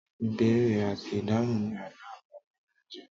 Ìbéèrè àti ìdáhùn ni àlọ́ àpagbè máa ń jẹ́.